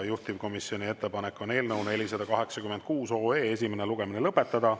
Juhtivkomisjoni ettepanek on eelnõu 486 esimene lugemine lõpetada.